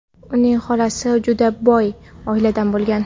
uning xolasi juda boy oiladan bo‘lgan.